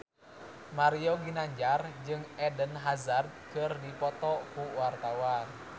Mario Ginanjar jeung Eden Hazard keur dipoto ku wartawan